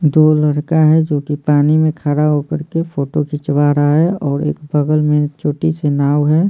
दो लड़का है जो कि पानी में खड़ा होकर के फोटो खींचवा रहा है और एक बगल में छोटी से नाव है।